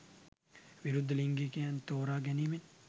විරුද්ධ ලිංගිකයන් තෝරා ගැනීමෙන්